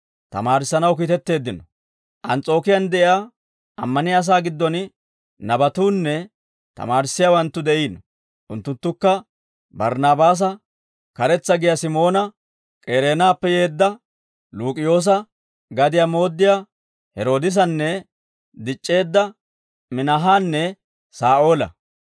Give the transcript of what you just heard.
Ans's'ookiyaan de'iyaa ammaniyaa asaa giddon nabatuunne tamaarissiyaawanttu de'iino; unttunttukka Barnaabaasa, Karetsa giyaa Simoona, K'ereenappe yeedda Luuk'iyoosa, gadiyaa mooddiyaa Heroodisanna dic'c'eedda Minaahanne Saa'oola.